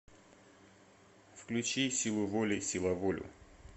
включи силуволи силаволю